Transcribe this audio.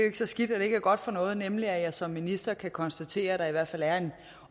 ikke så skidt at det ikke er godt for noget nemlig at jeg som minister kan konstatere der i hvert fald er en